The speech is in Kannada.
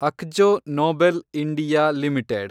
Akzo Nobel India limited